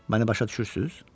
Məni başa düşürsüz?